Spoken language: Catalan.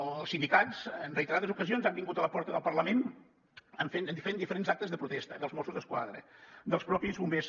els sindicats en reiterades ocasions han vingut a la porta del parlament en diferents actes de protesta dels mossos d’esquadra dels mateixos bombers